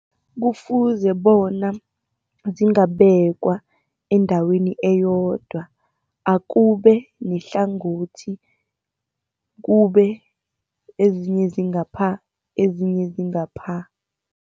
Kufuze bona zingabekwa endaweni eyodwa, akubenehlangothi, kube ezinye zingapha, ezinye zingapha.